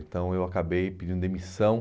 Então eu acabei pedindo demissão.